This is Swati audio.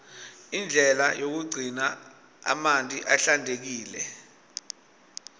indlela yokugcina amanti ahlantekile